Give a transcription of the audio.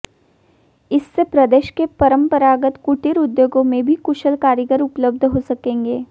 इससे प्रदेश के परमपरागत कुटीर उद्योगों में भी कुशल कारीगर उपलब्ध हो सकेंगे